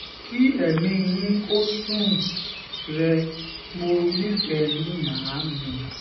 kí ẹ̀mí yín kò sùn-ún rẹ̀ mo nífẹ̀ẹ́ yín màámi